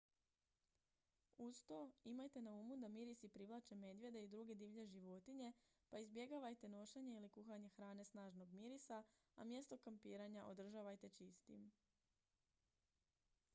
uz to imajte na umu da mirisi privlače medvjede i druge divlje životinje pa izbjegavajte nošenje ili kuhanje hrane snažnog mirisa a mjesto kampiranja održavajte čistim